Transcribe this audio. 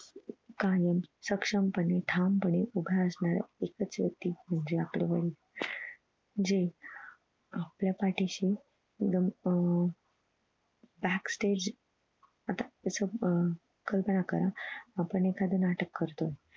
एकच व्यक्ति जे आपले वडील जे आपल्या पाठीशी एकदम अह back stage आता अह कल्पना करा आपण एखाद नाटक करतो